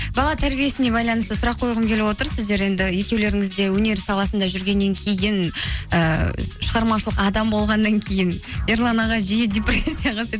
бала тәрбиесіне байланысты сұрақ қойғым келіп отыр сіздер енді екеулеріңізде өнер саласында жүргеннен кейін ыыы шығармашылық адамы болғаннан кейін ерлан аға жиі депрессияға түседі